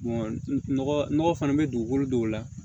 nɔgɔ fana bɛ dugukolo dɔw la